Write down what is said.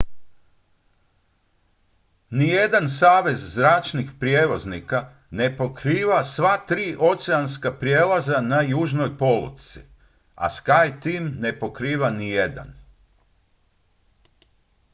nijedan savez zračnih prijevoznika ne pokriva sva tri oceanska prijelaza na južnoj polutci a skyteam ne pokriva nijedan